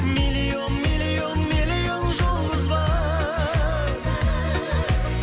миллион миллион миллион жұлдыз бар